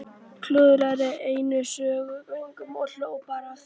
Klúðraði einu sönnunargögnunum og hló bara að því!